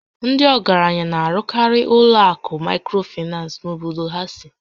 Ndị ọgaranya na-arụkarị ụlọ akụ Maịkrofinans n'obodo ha sì